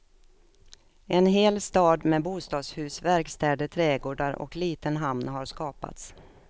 En hel stad med bostadshus, verkstäder, trädgårdar och liten hamn har skapats.